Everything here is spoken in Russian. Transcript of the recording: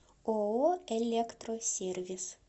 ооо электросервис